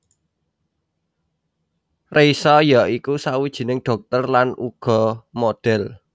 Reisa ya iku sawijining dhokter lan uga model